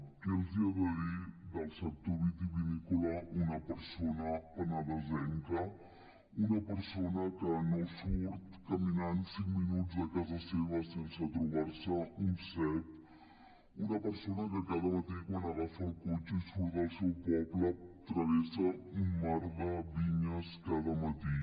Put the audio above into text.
què els ha de dir del sector vitivinícola una persona penedesenca una persona que no surt caminant cinc minuts de casa seva sense trobar se un cep una persona que cada matí quan agafa el cotxe i surt del seu poble travessa un mar de vinyes cada matí